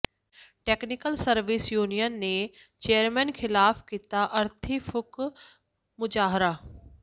technical service union ਨੇ chairman ਖ਼ਿਲਾਫ਼ ਕੀਤਾ ਅਰਥੀ ਫੂਕ ਮੁਜ਼ਾਹਰਾ